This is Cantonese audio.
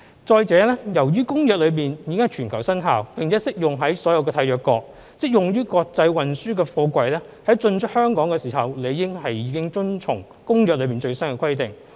再者，由於《公約》已經在全球生效，並適用於所有締約國，即用於國際運輸的貨櫃在進出香港時理應已遵從《公約》的最新規定。